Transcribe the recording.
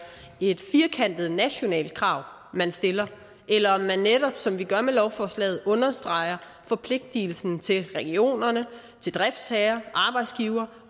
et firkantet nationalt krav man stiller eller om man netop som vi gør med lovforslaget understreger forpligtelsen til regionerne til driftsherrerne og arbejdsgiverne